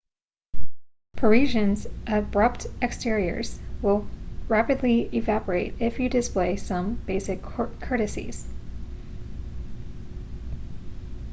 parisians' abrupt exteriors will rapidly evaporate if you display some basic courtesies